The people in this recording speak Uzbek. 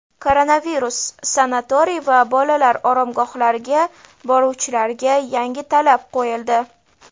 Koronavirus: sanatoriy va bolalar oromgohlariga boruvchilarga yangi talab qo‘yildi.